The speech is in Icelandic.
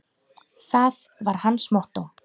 Það var hans mottó.